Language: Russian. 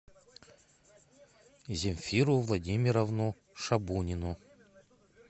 земфиру владимировну шабунину